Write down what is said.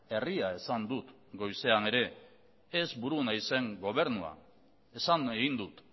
herria esan dut goizean ere ez buru naizen gobernua esan egin dut